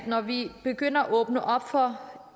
når vi begynder at åbne op for